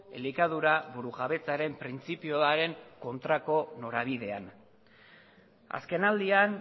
elikadura burujabetzaren printzipioaren kontrako norabidean azkenaldian